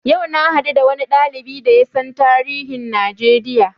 Yau na haɗu da wani ɗalibi da yasan tarihin Najeriya